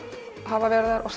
hafa verið þar og